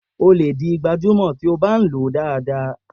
O lè di gbajúmò tí ó bá ń lo dáadáa.